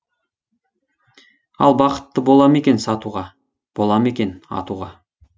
ал бақытты бола ма екен сатуға бола ма екен атуға